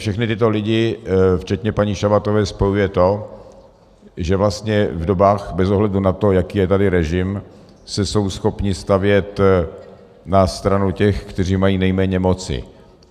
Všechny tyto lidi včetně paní Šabatové spojuje to, že vlastně v dobách, bez ohledu na to, jaký je tady režim, se jsou schopni stavět na stranu těch, kteří mají nejméně moci.